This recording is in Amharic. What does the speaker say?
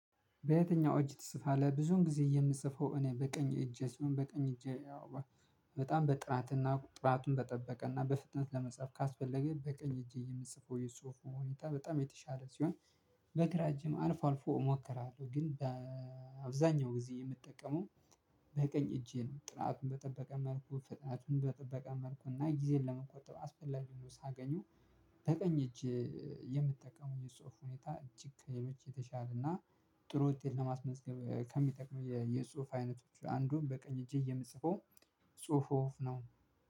በየትኛው እጅ ትጽፋለህ? ብዙውን ጊዜ የምጽፈው እኔ በቀኝ እጄ ሲሆን በቀኝ እጄ ያው በጣም በጥራትና ጥራቱን በጠበቀና በፍጥነት ለመጻፍ ካስፈለገ በቀኝ እጄ የምጽፈው የጽሁፍ ሁኔታ በጣም የተሻለ ሲሆን። በግራ እጅም አልፎ አልፎ እሞክራለሁ ግን አብዛኛው ጊዜ የምጠቀመው በቀኝ እጄ ነው። ጥራቱን በጠበቀ መልኩ ፍጥነቱን በጠበቀ መልኩ እና ጊዜዬን ለመቆጠብ አስፈላጊ ሆኖ ሳገኘው። በቀኝ እጅ የምትጠቀመው የጽሁፍ ሁኔታ እጅግ ከሌሎች የተሻለና ጥሩ ውጤት ለማስመዝገብ ከሚጠቅሙ የጽሁፍ አይነቶች አንዱ በቀኝ እጄ የምጽፈው ጽሁፍ ነው።